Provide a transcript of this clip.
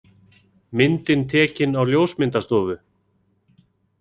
Myndin tekin á ljósmyndastofu.